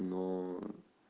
но